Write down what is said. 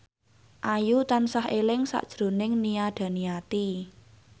Ayu tansah eling sakjroning Nia Daniati